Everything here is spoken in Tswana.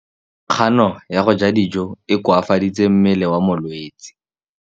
Kganô ya go ja dijo e koafaditse mmele wa molwetse.